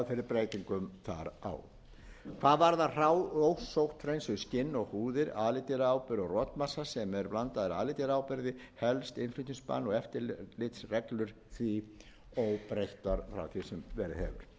þar á hvað varðar hrá ósótthreinsuð skinn og húðir alidýraáburð og rotmassa sem er blandaður alidýraáburði helst innflutningsbann og eftirlitsreglur því óbreyttar frá því sem verið hefur